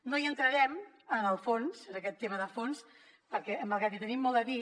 no entrarem en el fons en aquest tema de fons perquè malgrat que hi tenim molt a dir